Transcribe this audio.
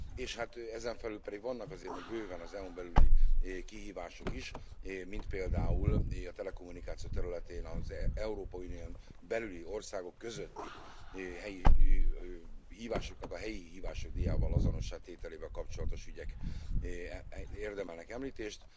És hát ezen felül pedig vannak azért még bőven az EU n belüli kihívások is, mint például a telekommunikáció területén az Európai Unión belüli országok közötti hívásoknak a helyi hívások díjával azonossá tételével kapcsolatos ügyek érdemelnek említést.